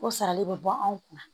O sarali bɛ bɔ anw kunna